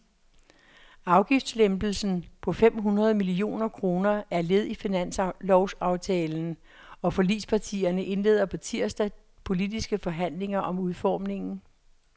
Afgiftslempelsen på fem hundrede millioner kroner er led i finanslovsaftalen, og forligspartierne indleder på tirsdag politiske forhandlinger om udformningen.